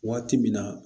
Waati min na